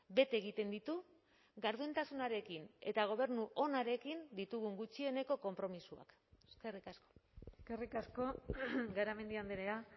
bete egiten ditu gardentasunarekin eta gobernu onarekin ditugun gutxieneko konpromisoak eskerrik asko eskerrik asko garamendi andrea